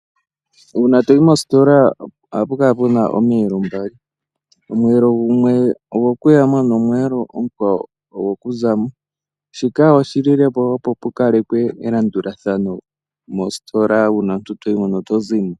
Uuna toyi mositola ohapu kala puna omiyelo mbali. Omweelo gumwe ogwo ku ya mo, nomweelo omukwawo ogoku zamo. Shika oshililepo opo pu kalekwe elandulathano mositola uuna toyimo nenge to zimo.